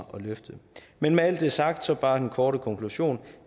løfte men med alt det sagt så bare den korte konklusion